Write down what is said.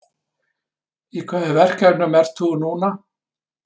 Í hvaða verkefnum ert þú nú?